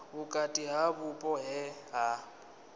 vhukati ha vhupo he ha